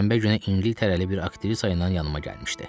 Şənbə günü İngiltərəli bir aktrisa ilə yanıma gəlmişdi.